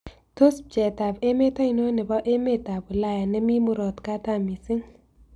Tos' pcheetap emet ainon ne po emetap ulaya nemi murot katam misiing'